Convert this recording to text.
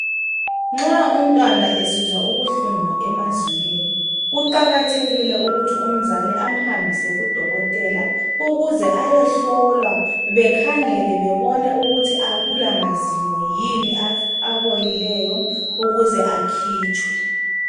Nxa umntwana esizwa ubuhlungu emazinyweni kuqakathekile ukuthi umzali amhambise kudokotela ayehlolwa ukuze bekhangele bebone ukuthi akula mazinyo yini abolileyo ukuze akhitshwe.